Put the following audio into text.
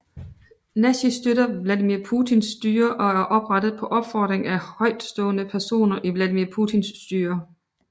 Nashi støtter Vladimir Putins styre og er oprettet på opfordring af højtstående personer i Vladimir Putins styre